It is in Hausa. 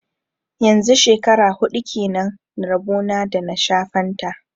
Yanzu shekara huɗu kenan rabo na da na sha fanta